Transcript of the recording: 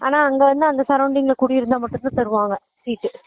ஆனா அங்க இருந்து அந்த surrounding ல குடி இருந்தா மட்டும் தான் தருவாங்க seat